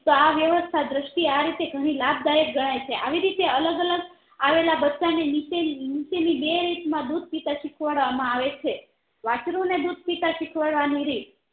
તો આ વ્યવસ્થા દ્રષ્ટિ આ રીતે ઘણી લાભદાયક ગણાય છે આવીરીતે અલગ અલગ આવેલા બચ્ચા ને નીચે ની નીચેની બે રીત માં દુધ પીતા શીખવાડવા માં આવે છે વાસ્ત્રુને દુધ પીતા શીખવાડ વાની રીત